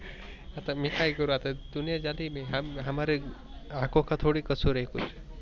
आता मी काय करू दुनिया जालिम हय हम हमारे आखो का थोडाही कसूर हय कूच?